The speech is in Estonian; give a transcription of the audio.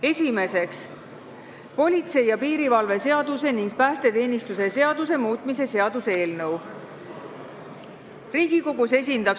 Esiteks, politsei ja piirivalve seaduse ning päästeteenistuse seaduse muutmise seaduse eelnõu.